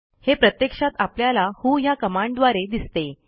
हे प्रत्यक्षात आपल्याला व्हो ह्या कमांडद्वारे दिसते